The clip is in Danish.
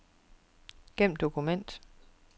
Gem dokument.